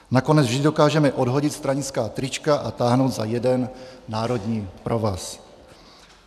Nakonec vždy dokážeme odhodit stranická trička a táhnout za jeden národní provaz.